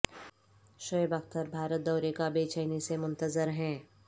شعیب اختر بھارت دورے کا بےچینی سے منتظر ہیں